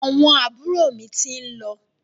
Àwọn àbúrò mi ti ń lọ.